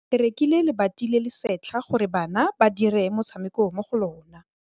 Ba rekile lebati le le setlha gore bana ba dire motshameko mo go lona.